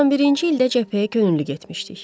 91-ci ildə cəbhəyə könüllü getmişdik.